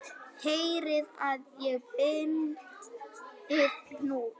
Herðið að og bindið hnút.